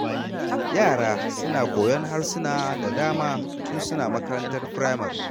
Yara suna koyon harsuna da dama tun suna makarantar firamare.